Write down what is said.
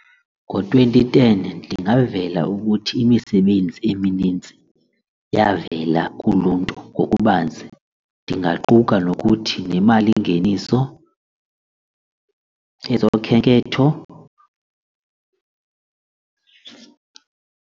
Ngo-twenty ten ndingavela ukuthi imisebenzi eminintsi yavela kuluntu ngokubanzi ndingaquka nokuthi nemalingeniso, ezokhenketho.